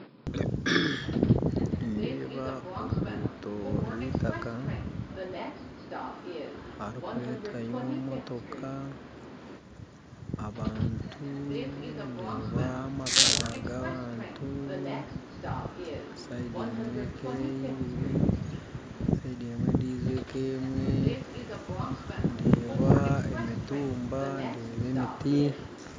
Nindeeba oruguuto rw'eitaaka harikuretwayo emotooka abantu, ndeeba amaka g'abantu, saindi emwe eriyo eka ebiiri, saindi endijo eka emwe, ndeeba emituumba, ndeeba emiiti.